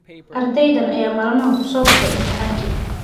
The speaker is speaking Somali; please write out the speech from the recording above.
Ardaydan ayaa maalmahan ku soo baxay imtixaankii